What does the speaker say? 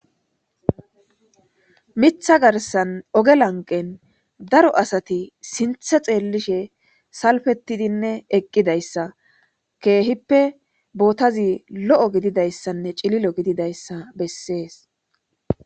mitha garsan oge lanqen daro asati sinthe xeellishe salfettidinne eqqidayssa keehippe bootazi lo7o gididayssanne cililo gididayssa bessees